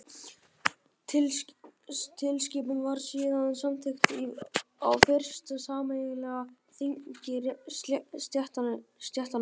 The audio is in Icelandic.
Tilskipunin var síðan samþykkt á fyrsta sameiginlega þingi stéttanna.